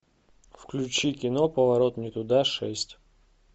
включи кино поворот не туда шесть